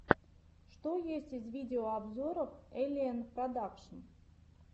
что есть из видеообзоров эллиэнн продакшн